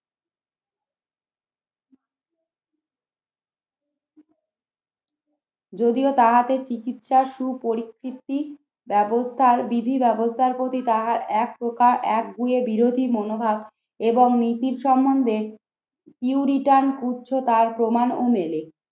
যদিও তাহাদের চিকিৎসার সুপরিস্থিতি ব্যবস্থার বিধি ব্যবস্থার প্রতি তারা একপ্রকার একগুঁয়ে বিরোধী মনোভাব এবং নীতির সম্বন্ধে উচ্চতার প্রমাণ ও মেলে